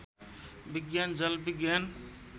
विज्ञान जल विज्ञान